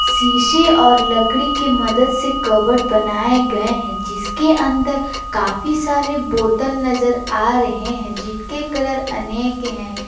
शीशे और लकड़ी के मदद से कबड बनाये गये हैं जिसके अन्दर काफी सारे बोतल नजर आ रहे हैं जिनके कलर अनेक हैं।